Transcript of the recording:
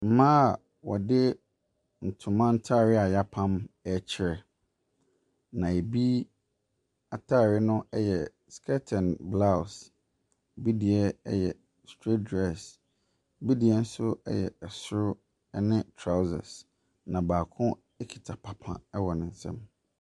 Mmaa a wɔde ntoma ntaareɛ a yɛapam rekyerɛ. Na ebi ataare no yɛ skirt and brows. Ebi deɛ yɛ staight dress. Ebi deɛ nso yɛ ɛsoro ne trawsa. Na baako kita papa wɔ ne nsam.